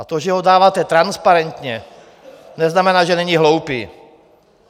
A to, že ho dáváte transparentně, neznamená, že není hloupý.